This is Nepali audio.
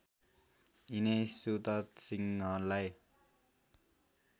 यिनै सुतथ सिंहलाई